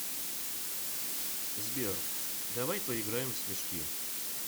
сбер давай поиграем в снежки